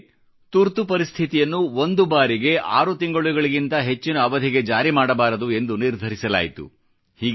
ಜೊತೆಗೆ ತುರ್ತು ಪರಿಸ್ಥಿತಿಯನ್ನು 6 ತಿಂಗಳುಗಳಿಗಿಂತ ಹೆಚ್ಚಿನ ಅವಧಿಗೆ ವಿಸ್ತರಿಸಬಾರದು ಎಂದು ನಿರ್ಧರಿಸಲಾಯಿತು